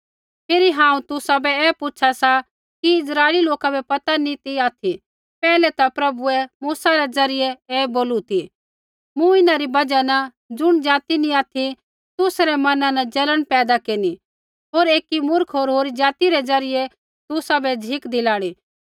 फिरी हांऊँ तुसाबै ऐ पूछा सा कि इस्राइली लोका बै पता नी ती ऑथि पैहलै ता प्रभुऐ मूसा रै ज़रियै ऐ बोलू ती मूँ इन्हां री बजहा न ज़ुण ज़ाति नैंई ऑथि तुसा रै मना न जलन पैदा केरनी होर एकी मूर्ख होरी ज़ाति रै ज़रियै तुसाबै झ़िक दिलाणी